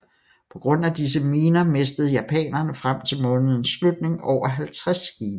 På grund af disse miner mistede japanerne frem til månedens slutninger over 50 skibe